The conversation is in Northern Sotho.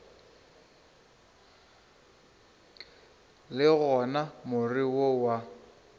le gona more wo wa